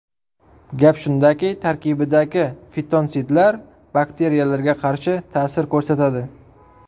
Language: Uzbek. Gap shundaki, tarkibidagi fitonsidlar bakteriyalarga qarshi ta’sir ko‘rsatadi.